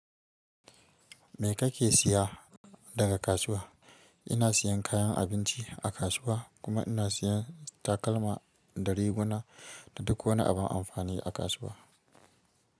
Me kake siya daga kasuwa? Ina siyan kayan abinci a kasuwa, kuma ina siyan takalma, da riguna da duk wani abin amfani a kasuwa.